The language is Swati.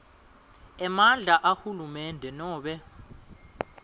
emandla ahulumende nobe